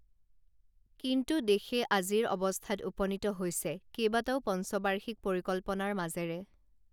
কিন্তু দেশে আজিৰ অৱস্থাত উপনীত হৈছে কেইবাটাও পঞ্চবাৰ্ষিক পৰিকল্পনাৰ মাজেৰে